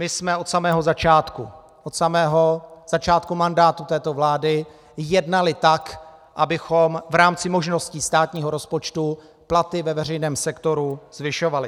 My jsme od samého začátku, od samého začátku mandátu této vlády, jednali tak, abychom v rámci možností státního rozpočtu platy ve veřejném sektoru zvyšovali.